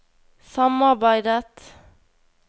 samarbeidet